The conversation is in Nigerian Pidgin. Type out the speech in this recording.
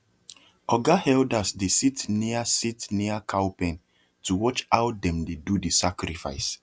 oga elders dey sit near sit near cow pen to watch how dem dey do the sacrifice